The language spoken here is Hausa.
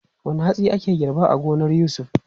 Wane hatsi ake girba a gonar Yusuf?